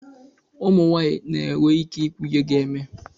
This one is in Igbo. ụmụ nwanyị na-enwe ike ikwu ihe ga-eme